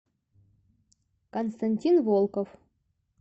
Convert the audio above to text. константин волков